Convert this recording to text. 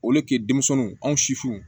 O le ke denmisɛnw an sifinw